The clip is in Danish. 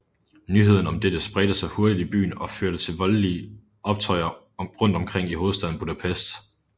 Nyheden om dette spredte sig hurtigt i byen og førte til voldelige optøjer rundt omkring i hovedstaden Budapest